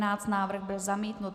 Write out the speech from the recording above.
Návrh byl zamítnut.